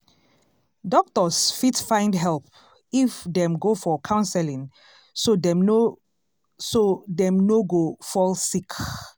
doctors fit find help if dem go for counseling so dem no so dem no go fall sick.